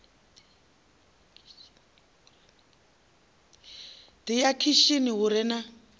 ḓi ya khishini hu re